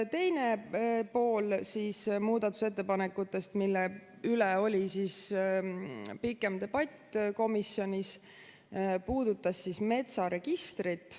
Teine osa muudatusettepanekutest, mille üle oli pikem debatt komisjonis, puudutas metsaregistrit.